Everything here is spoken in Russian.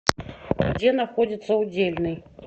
где находится удельный